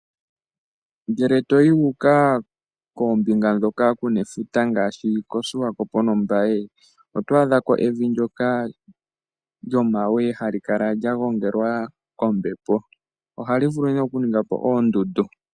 Ngele to yi u uka koombinga ndhoka ku na efuta ngaashi koSwakopo nOmbaye, oto adha ko evi ndyoka lyomawe hali kala lya gongelwa kombepo. Ohali vulu nee okuninga po oondundu.